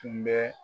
Tun bɛ